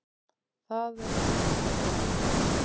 Það er nú númer eitt.